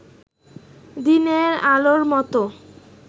দিনের আলোর মত